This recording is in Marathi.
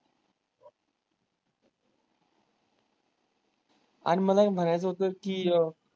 आणि मला है म्हणायचं होतं कि अ?